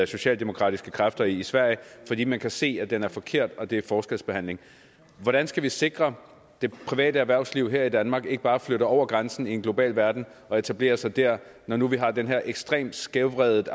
socialdemokratiske kræfter i sverige fordi man kan se at den er forkert og at det er forskelsbehandling hvordan skal vi sikre det private erhvervsliv her i danmark ikke bare flytter over grænsen i en global verden og etablerer sig der når nu vi har den her er ekstremt skævvredet